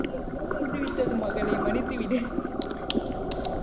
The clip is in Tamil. தெரியாமல் வந்து விட்டது மகளே மன்னித்து விடு